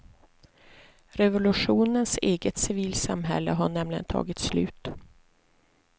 Revolutionens eget civilsamhälle har nämligen tagit slut.